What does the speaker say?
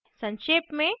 संक्षेप में